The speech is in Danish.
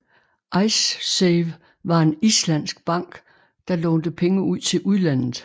Icesave var en islandsk bank der lånte pege ud til udlandet